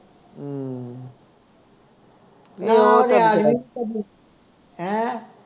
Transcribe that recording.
ਹੈ